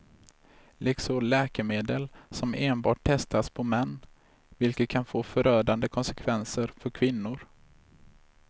Likaså läkemedel som enbart testas på män, vilket kan få förödande konsekvenser för kvinnor.